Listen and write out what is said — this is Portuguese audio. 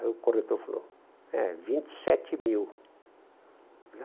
Aí o corretor falou, é, vinte e sete mil.